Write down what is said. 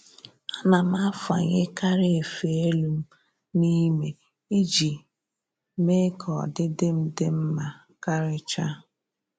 Ana m afanyekarị efe elu m n'ime iji mee ka ọdịdị m dị mma karịcha